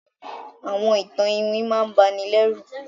Àwọn ìtan-ìwìn máà ǹ bà nì lẹru